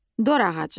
Dorağacı.